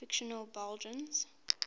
fictional belgians